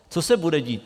Co se bude dít?